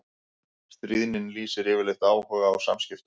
Stríðnin lýsir yfirleitt áhuga á samskiptum.